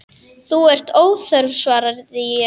Þú ert óþörf, svaraði ég.